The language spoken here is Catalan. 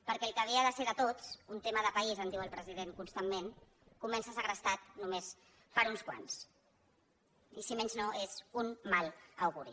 perquè el que havia de ser de tots un tema de país en diu el president constantment comença segrestat només per uns quants i si més no és un mal auguri